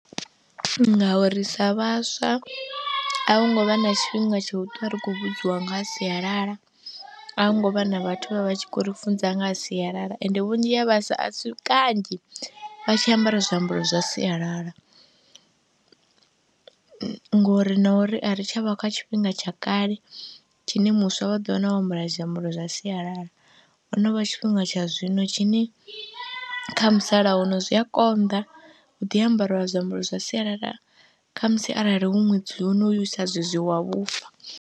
Nga uri sa vhaswa a vho ngo vha na tshifhinga tsho ṱwa ri khou vhudziwa nga ha sialala, a hu ngo vha na vhathu vha vha tshi khou ri funza nga ha sialala ende vhunzhi ha vhaswa a si kanzhi vha tshi ambara zwiambaro zwa sialala ngori na uri a ri tsha vha kha tshifhinga tsha kale tshine muswa vha ḓo wana o zwiambaro zwa sialala, ho no vha tshifhinga tsha zwino tshine kha musalauno zwi a konḓa, hu ḓi ambariwa zwiambaro zwa sialala kha musi arali hu ṅwedzi honoyu sa zwezwi wa vhufa.